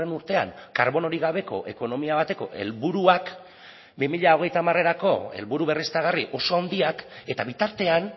urtean karbonorik gabeko ekonomia bateko helburuak bi mila hogeita hamarerako helburu berriztagarri oso handiak eta bitartean